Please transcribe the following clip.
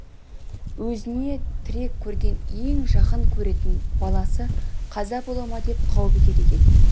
өзіне тірек көрген ең жақын көретін баласы қаза бола ма деп қауіп етеді екен